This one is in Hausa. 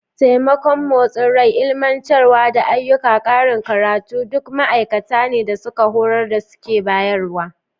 Taimakon motsin rai, ilmantarwa, da ayyukan karin karatu duk ma'aikata ne da suka horar da su ke bayarwa.